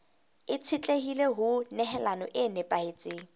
itshetlehile ho nehelano e nepahetseng